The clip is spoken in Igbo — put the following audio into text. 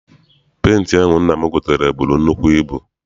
Penti ahụ nna m gotere buru nnukwu ibu.